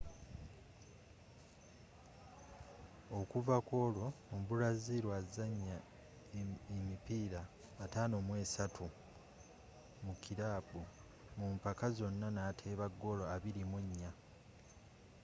okuva kwolwo omubraziru azannye emipiira 53 mu kirabu mu mpaka zonna n'ateeba goolo 24